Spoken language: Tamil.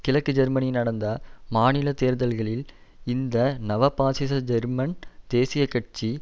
கிழக்கு ஜெர்மனி நடந்த மாநில தேர்தல்களில் இந்த நவ பாசிச ஜெர்மன் தேசிய கட்சி